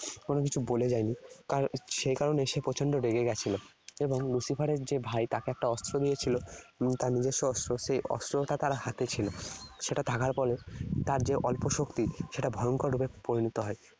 কোনকিছু বলে যায়নি। সেই কারণে সে প্রচণ্ড রেগে গেছিল। এবং Lucifer এর যে ভাই তাকে একটা অস্ত্র দিয়েছিল, তার নিজস্ব অস্ত্র, সেই অস্ত্রটা তার হাতে ছিল। সেটা থাকার ফলে তার যে অল্প শক্তি সেটা ভয়ঙ্কর রূপে পরিণত হয়।